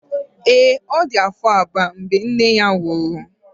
ee, ọ dị afọ abụọ mgbe nne ya nwụrụ